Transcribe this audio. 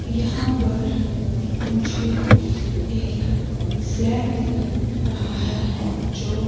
यहाँ पर मुझे एक फ्लैट दिख रहा हैजो --